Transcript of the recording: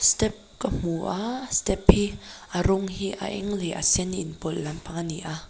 step ka hmu a step hi a rawng hi a eng leh sen in pawlh lampang a ni a.